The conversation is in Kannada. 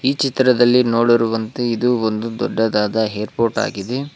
ಈ ಚಿತ್ರದಲ್ಲಿ ನೋಡಿರುವಂತೆ ಇದು ಒಂದು ದೊಡ್ಡದಾದ ಏರ್ಪೋರ್ಟ್ ಆಗಿದೆ.